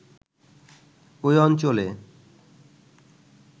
ওই অঞ্চলে